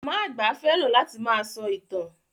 Màmá àgbà fẹ́ràn láti máa sọ ìtàn.